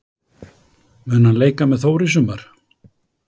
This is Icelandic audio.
Mun hann leika með Þór í sumar?